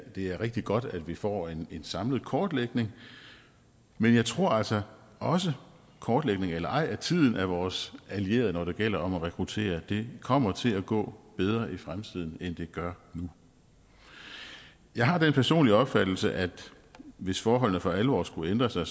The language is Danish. det er rigtig godt at vi får en samlet kortlægning men jeg tror altså også kortlægning eller ej at tiden er vores allierede når det gælder om at rekruttere det kommer til at gå bedre i fremtiden end det gør nu jeg har den personlige opfattelse at hvis forholdene for alvor skulle ændre sig